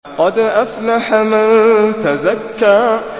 قَدْ أَفْلَحَ مَن تَزَكَّىٰ